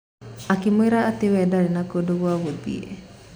Akĩmwĩra atĩ we ndarĩ na kundũ gwa gũthiĩ.